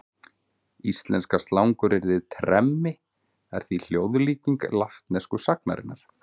Íslenska slanguryrðið tremmi er því hljóðlíking latnesku sagnarinnar.